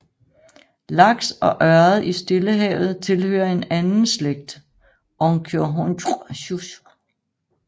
Laks og ørred i Stillehavet tilhører en anden slægt Oncorhynchus